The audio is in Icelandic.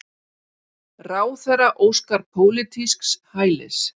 Ráðherra óskar pólitísks hælis